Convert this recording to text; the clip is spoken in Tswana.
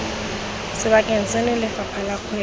sebakeng seno lefapha la kgwebo